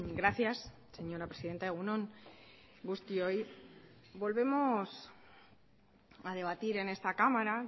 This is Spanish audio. gracias señora presidenta egun on guztioi volvemos a debatir en esta cámara